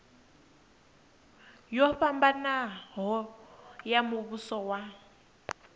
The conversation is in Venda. yo fhambanaho ya muvhuso wa